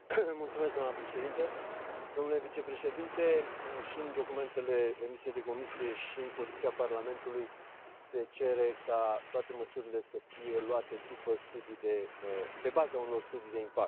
Doamnă președintă, domnule vicepreședinte, și în documentele emise de Comisie, și în poziția Parlamentului, se cere ca toate măsurile să fie luate pe baza unor studii de impact.